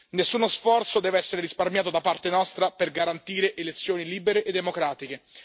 Nessuno sforzo deve essere risparmiato da parte nostra per garantire elezioni libere e democratiche.